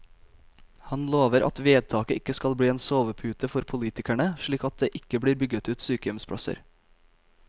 Han lover at vedtaket ikke skal bli en sovepute for politikerne, slik at det ikke blir bygget ut sykehjemsplasser.